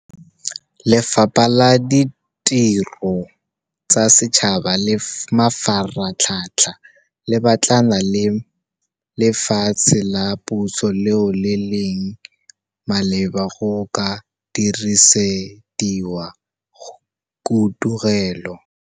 Lefapha la Ditiro tsa Setšhaba le Mafaratlhatlha le batlana le lefatshe la puso leo le leng maleba go ka dirisediwa khudugelo.